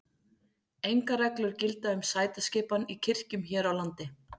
Engar reglur gilda um sætaskipan í kirkjum hér á landi.